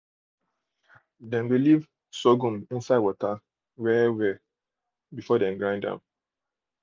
dem dey leave sorghum inside water well well before dey grind am